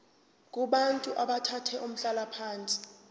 kubantu abathathe umhlalaphansi